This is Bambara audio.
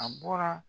A bɔra